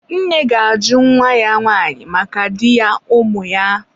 nne ga-ajụ nwa ya nwanyị maka di ya ụmụ ya.